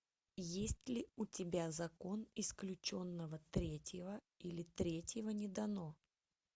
есть ли у тебя закон исключенного третьего или третьего не дано